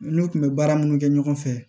N'u kun bɛ baara minnu kɛ ɲɔgɔn fɛ